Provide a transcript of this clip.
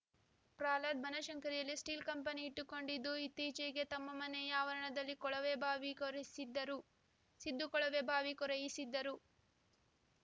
ಪ್ರಹ್ಲಾದ್‌ ಬನಶಂಕರಿಯಲ್ಲಿ steel company ಇಟ್ಟುಕೊಂಡಿದ್ದು ಇತ್ತೀಚೆಗೆ ತಮ್ಮ ಮನೆಯ ಆವರಣದಲ್ಲಿ ಕೊಳವೆಬಾವಿ ಕೊರೆಯಿಸಿದ್ದರು ಸಿದ್ದು ಕೊಳವೆ ಬಾವಿ ಕೊರೆಯಿಸಿದ್ದರು